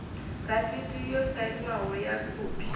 rasiti yo sainwaho ya khophi